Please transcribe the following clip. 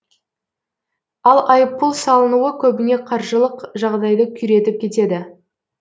ал айыппұл салынуы көбіне қаржылық жағдайды күйретіп кетеді